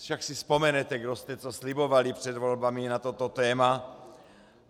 Však si vzpomenete, kdo jste co slibovali před volbami na toto téma.